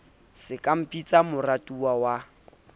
se ka mpitsa moratuwa wa